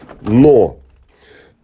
но